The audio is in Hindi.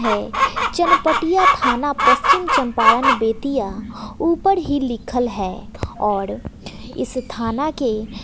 है चनपटिया थाना पश्चिम चंपारण बेतिया ऊपर ही लिखल है और इस थाना के--